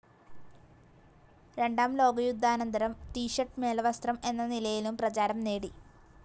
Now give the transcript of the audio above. രണ്ടാം ലോകയുദ്ധാനന്തരം ത്ഷർട്ട്‌ മേൽവസ്ത്രം എന്ന നിലയിലും പ്രചാരം നേടി.